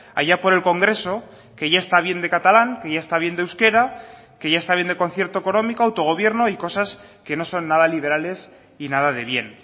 allá por el congreso que ya está bien de catalán que ya está bien de euskera que ya está bien de concierto económico autogobierno y cosas que no son nada liberales y nada de bien